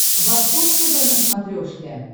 восток тв на смотрешке